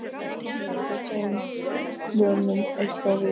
Kemur þetta þeim plönum eitthvað við?